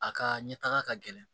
A ka ɲɛ taga ka gɛlɛn